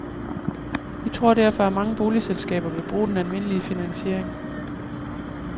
Vi tror derfor, at mange boligselskaber vil bruge den almindelige finansiering.